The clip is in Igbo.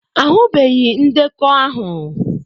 Ahụbeghị ndekọ ahụ.